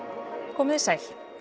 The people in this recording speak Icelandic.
komið þið sæl